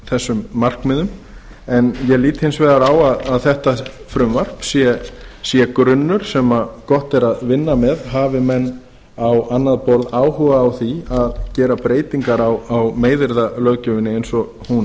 þessum markmiðum en ég lít hins vegar á að þetta frumvarp sé grunnur sem gott er að vinna með hafi menn á annað borð áhuga á því að gera breytingar á meiðyrðalöggjöfinni eins og hún